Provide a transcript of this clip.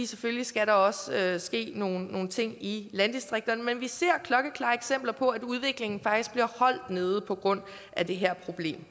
selvfølgelig skal der også ske nogle ting i landdistrikterne men vi ser klokkeklare eksempler på at udviklingen faktisk bliver holdt nede på grund af det her problem